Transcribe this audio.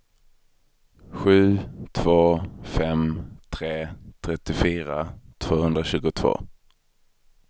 sju två fem tre trettiofyra tvåhundratjugotvå